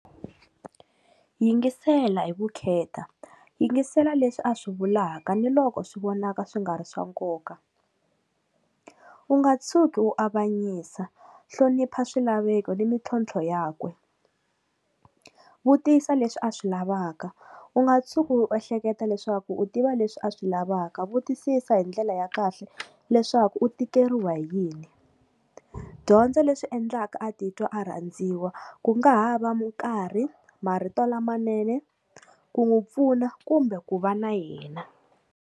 Yingisela hi vukheta, yingisela leswi a swi vulaka ni loko swi vonaka swi nga ri swa nkoka, u nga tshuki wu avanyisa hlonipha swilaveko ni mintlhontlho yakwe, vutisa leswi a swi lavaka u nga tshuki u ehleketa leswaku u tiva leswi a swi lavaka, vutisisa hi ndlela ya kahle leswaku u tikeriwa hi yini, dyondza leswi endlaka a titwa a rhandziwa ku nga ha va nkarhi marito lamanene ku n'wi pfuna kumbe ku va na yena.